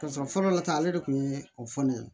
Ka sɔrɔ fɔlɔ la ta ale de kun ye o fɔ ne ye